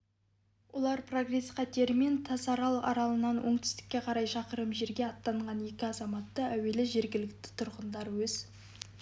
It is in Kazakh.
олар прогресс катерімен тасарал аралынан оңтүстікке қарай шақырым жерге аттанған екі азаматты әуелі жергілікті тұрғындар өз